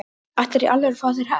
Ætlarðu í alvöru að fá þér hest?